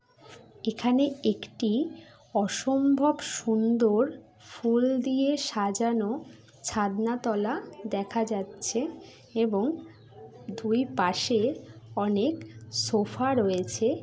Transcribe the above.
এখানে একটি অসম্ভব সুন্দর ফুল দিয়ে সাজানো ছাদনাতলা দেখা যাচ্ছে এবং দুই পাশে অনেক সোফা রয়েছে।